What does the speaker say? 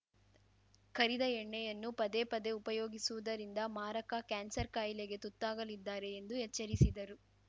ಕರಿದ ಎಣ್ಣೆಯನ್ನು ಪದೆಪದೇ ಉಪಯೋಗಿಸುವುದರಿಂದ ಮಾರಕ ಕ್ಯಾನ್ಸರ್‌ ಕಾಯಿಲೆಗೆ ತುತ್ತಾಗಲಿದ್ದಾರೆ ಎಂದು ಎಚ್ಚರಿಸಿದರು